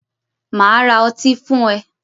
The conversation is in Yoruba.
Màá ra otí fún ẹ